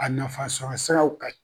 A nafa sɔrɔ siraw ka ɲin.